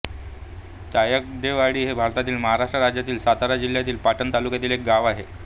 तायगडेवाडी हे भारतातील महाराष्ट्र राज्यातील सातारा जिल्ह्यातील पाटण तालुक्यातील एक गाव आहे